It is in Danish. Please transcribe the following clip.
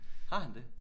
Har han det?